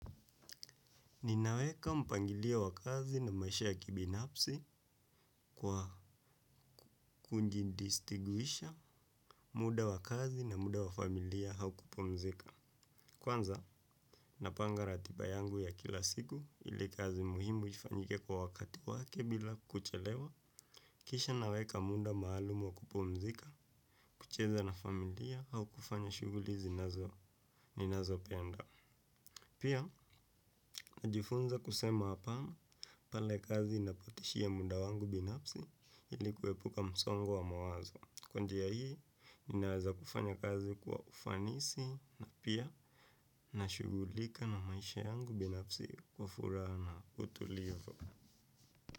Ninaweka mpangilio wa kazi na maisha ya kibinafsi kwa ku distinguisha muda wa kazi na muda wa familia au kupumzika. Kwanza, napanga ratiba yangu ya kila siku ili kazi muhimu ifanyike kwa wakati wake bila kuchelewa. Kisha naweka muda maalum wa kupumzika, kucheza na familia au kufanya shughuli ninazo penda. Pia najifunza kusema apana pale kazi inapo tishia muda wangu binafsi ili kuepuka msongo wa mawazo kwa njia hii ninaweza kufanya kazi kwa ufanisi na pia nashughulika na maisha yangu binafsi kwa furaha na utulivu.